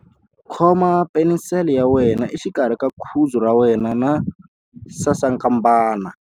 Khoma penisele ya wena exikarhi ka khudzu ra wena na sasankambana.